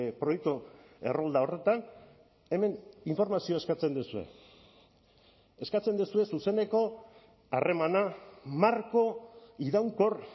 proiektu errolda horretan hemen informazioa eskatzen duzue eskatzen duzue zuzeneko harremana marko iraunkor